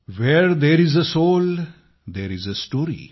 where there is a soul there is a story